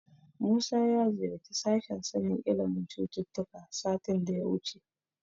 Musa ya ziyarci sashen sanin ilimin cututtuka satin da ya wuce.